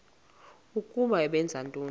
ukuba benza ntoni